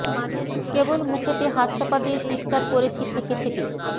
কেবল মুখেতে হাত চাপা দিয়ে চিৎকার করেছি থেকে থেকে